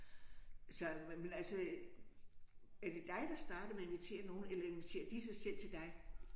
Så jamen altså. Er det dig der starter med at invitere nogen eller inviterer de sig selv til dig?